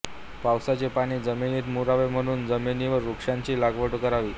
पावसाचे पाणी जमिनीत मुरावे म्हणून जमिनीवर वृक्षांची लागवड करावी